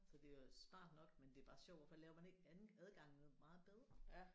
Så det er smart nok men det er bare sjovt hvorfor laver man ikke anden adgangen meget bedre